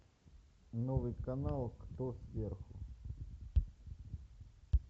новый канал кто сверху